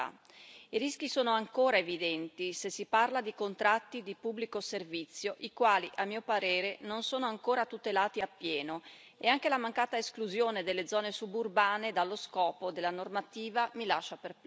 I rischi sono ancora evidenti se si parla di contratti di pubblico servizio i quali, a mio parere, non sono ancora tutelati appieno, e anche la mancata esclusione delle zone suburbane dallo scopo della normativa mi lascia perplessa.